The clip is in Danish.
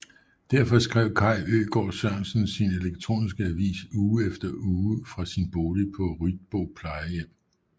Derefter skrev Kaj Øgaard Sørensen sin elektroniske avis uge efter uge fra sin bolig på Ryetbo Plejehjem